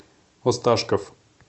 осташков